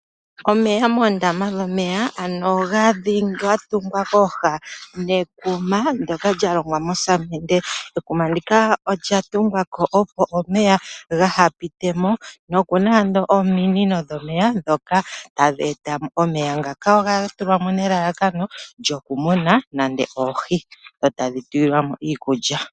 Aantu oyendji ohaya tungu uundama. Muundama muka oha mu tulwa oohi, oohi omo ha dhi muninwa muka. Ta mu tulwa woo iikulya dhi vule dhi koke dho dhi kalandithwepo.